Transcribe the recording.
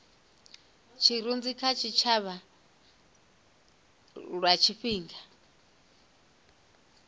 tshirunzi kha tshitshavha lwa tshifhinga